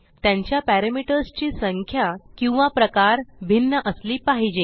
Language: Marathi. त्यांच्या पॅरामीटर्स ची संख्या किंवा प्रकार भिन्न असली पाहिजे